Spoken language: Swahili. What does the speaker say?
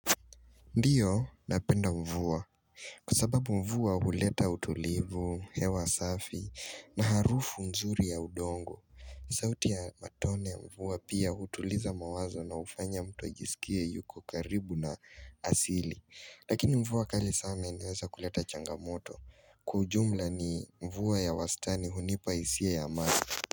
Ndiyo napenda mvua. Kwa sababu mvua huleta utulivu, hewa safi na harufu mzuri ya udongo. Zauti ya matone mvua pia utuliza mawazo na ufanya mtu ajisikie yuko karibu na asili. Lakini mvua kali sana inaweza kuleta changamoto. Kwa ujumla ni mvua ya wastani hunipa hisia ya amani.